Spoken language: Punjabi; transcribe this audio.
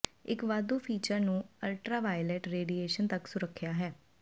ਇੱਕ ਵਾਧੂ ਫੀਚਰ ਨੂੰ ਅਲਟਰਾਵਾਇਲਟ ਰੇਡੀਏਸ਼ਨ ਤੱਕ ਸੁਰੱਖਿਆ ਹੈ